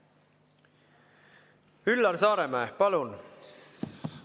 Üllar Saaremäe, palun!